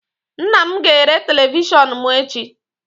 Nna m ga-ere televishọnụ m echi